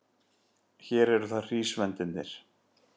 Hér eru það hrísvendirnir.